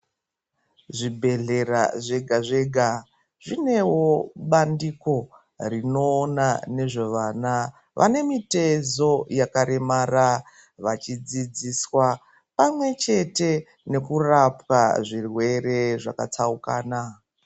Zvibhedhlera zvega zvega zvineo bandiko rinoona nezvevana vane mitezo yakaremara vachidzidziswa pamwe chete nekurapwa zvirwere zvakatsaukana.